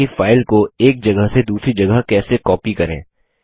देखते हैं कि फाइल को एक जगह से दूसरी जगह कैसे कॉपी करें